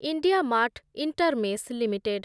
IndiaMART InterMESH limited